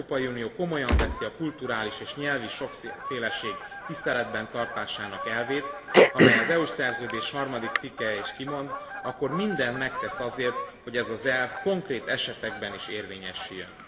Ha az Európai Unió komolyan veszi a kulturális és nyelvi sokféleség tiszteletben tartásának elvét, amelyet az EU Szerződés harmadik cikkelye is kimond, akkor mindent megtesz azért, hogy ez az elv konkrét esetekben is érvényesüljön.